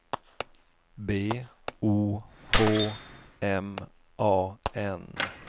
B O H M A N